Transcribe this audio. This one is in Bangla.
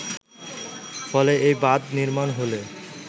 ফলে এই বাঁধ নির্মাণ হলে